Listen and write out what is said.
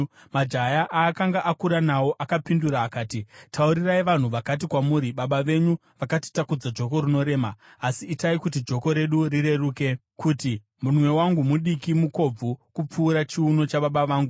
Majaya aakanga akura nawo akapindura akati, “Taurirai vanhu vakati kwamuri, ‘Baba venyu vakatitakudza joko rinorema asi itai kuti joko redu rireruke,’ kuti, ‘Munwe wangu mudiki mukobvu kupfuura chiuno chababa vangu.